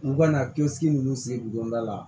U ka na kɛsigi ninnu se donda la